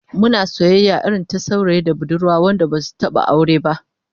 Muna soyayya irin ta saurayi da budurwa wanda basu taba aure ba